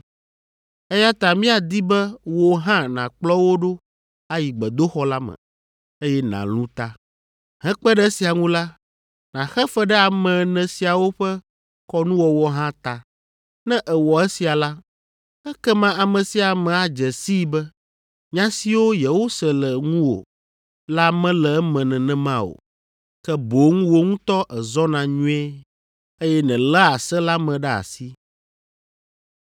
eya ta míadi be wò hã nàkplɔ wo ɖo ayi gbedoxɔ la me, eye nàlũ ta. Hekpe ɖe esia ŋu la, nàxe fe ɖe ame ene siawo ƒe kɔnuwɔwɔ hã ta. Ne èwɔ esia la, ekema ame sia ame adze sii be nya siwo yewose le ŋuwò la mele eme nenema o. Ke boŋ wò ŋutɔ èzɔna nyuie, eye nèléa se la me ɖe asi.